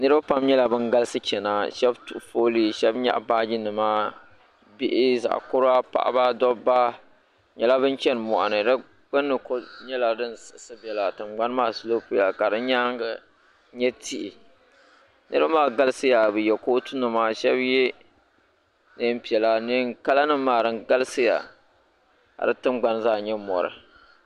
niripam nyɛla ban galisi chɛna shebituɣiƒuli ka nyɛgi baajinima bihi zaɣ' kura paɣ' doba be nyɛla binchini moɣini di gbani kuli nyɛ la din siɣisi bɛla dingbani maa nyɛla din siɣisi bila ka di nyɛŋa nyɛ tihi niriba maa glisiya ka sheba yɛ kutunima ka shɛb yɛ nɛɛi piɛla kalanimaa din galisiyaka dintingbani zaa nyɛ mori